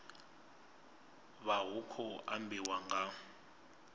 vha hu khou ambiwa nga